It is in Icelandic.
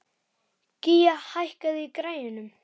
Gía, hækkaðu í græjunum.